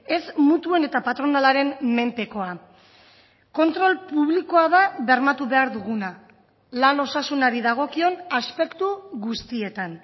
ez mutuen eta patronalaren menpekoa kontrol publikoa da bermatu behar duguna lan osasunari dagokion aspektu guztietan